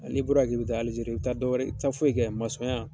N'i bɔra yan k'i bɛ taa alizeri i bɛ taa dɔwɛrɛ i tɛ taa foyi kɛ ye masɔnya